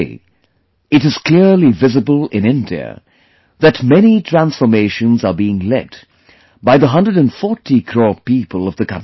Today, it is clearly visible in India that many transformations are being led by the 140 crore people of the country